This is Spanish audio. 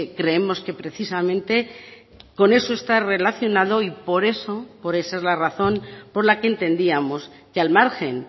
creemos que precisamente con eso está relacionado y por eso por esa es la razón por la que entendíamos que al margen